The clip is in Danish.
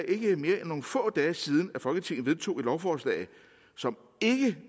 ikke er mere end nogle få dage siden at folketinget vedtog et lovforslag som ikke